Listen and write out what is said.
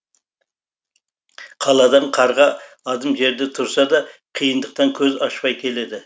қаладан қарға адым жерде тұрса да қиындықтан көз ашпай келеді